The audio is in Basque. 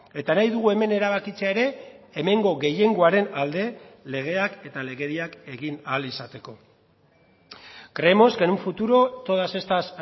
eta nahi dugu hemen erabakitzea ere hemengo gehiengoaren alde legeak eta legediak egin ahal izateko creemos que en un futuro todas estas